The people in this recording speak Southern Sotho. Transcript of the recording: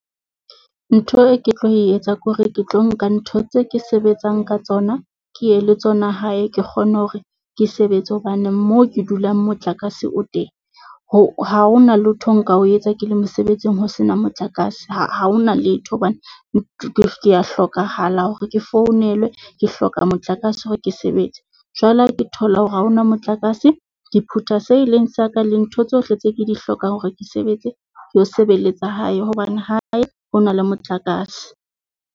Ntho e ke tlo etsa ke hore ke tlo nka ntho tse ke sebetsang ka tsona ke ye le tsona hae. Ke kgone hore ke sebetse hobane moo ke dulang motlakase o teng, ho ha ho na lotho nka o etsa ke le mosebetsing ho sena motlakase. Ha ho na letho hobane ke ya hlokahala hore ke founelwe, ke hloka motlakase hore ke sebetse. Jwale ha ke thola hore ha ho na motlakase ke phuta seo e leng sa ka le ntho tsohle tse ke di hlokang hore ke sebetse ke sebeletsa hae, hobane hae ho na le motlakase.